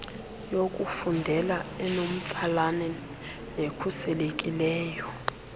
yokufundela enomtsalane nekhuselekileyo